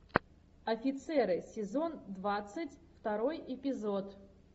офицеры сезон двадцать второй эпизод